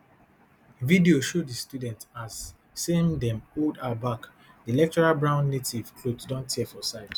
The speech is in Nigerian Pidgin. video show di student as sem dey hold her back di lecturer brown native clothes don tear for side